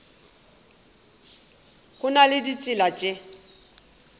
go na le ditsela tše